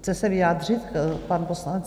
Chce se vyjádřit pan poslanec?